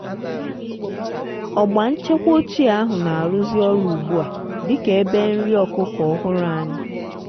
ọgba nchekwa ochie ahụ na-arụzi ọrụ ugbu a dị ka ebe nri ọkụkọ ọhụrụ anyị.